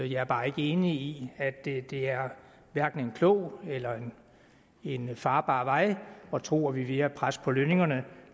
jeg er bare ikke enig i at det er hverken en klog eller en farbar vej at tro at vi via pres på lønningerne